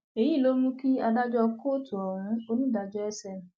èyí ló mú kí adájọ kóòtù ohun onídàájọ sm